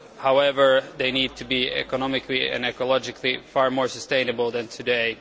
However, they need to be economically and ecologically far more sustainable than they are today.